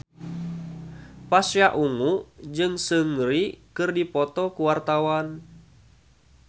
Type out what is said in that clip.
Pasha Ungu jeung Seungri keur dipoto ku wartawan